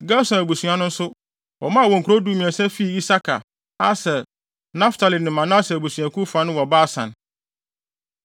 Gerson abusua no nso, wɔmaa wɔn nkurow dumiɛnsa fii Isakar, Aser, Naftali ne Manase abusuakuw fa no wɔ Basan.